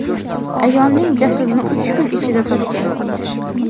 ayolning jasadini uch kun ichida topgan.